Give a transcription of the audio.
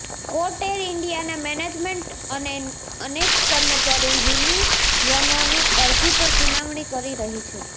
court air ઇન્ડિયાના management અને અનેક કર્મચારી યુનિયનોની અરજી પર સુનાવણી કરી રહી હતી